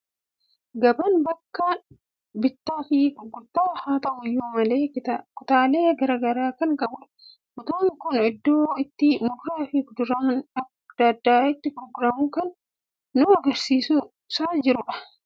Gabaan bakka bittaa fi gurgurtaa haa ta'u iyyuu malee, kutaalee garaa garaa kan qabudha. Kutaan kun iddoo itti muduraa fi kuduraan adda addaa itti gurguraman kan nu argisiisaa jiru dha.